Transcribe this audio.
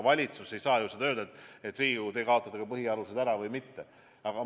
Valitsus ei saa ju öelda, et Riigikogu, kaotage põhialused ära!